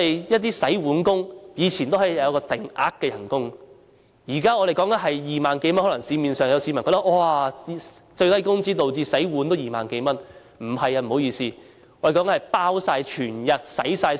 一些洗碗工人以前有定額薪金，現在洗碗工人工資2萬多元，市民可能會覺得最低工資導致洗碗都有2萬多元工資。